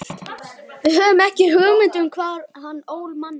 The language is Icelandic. Við höfðum ekki hugmynd um hvar hann ól manninn.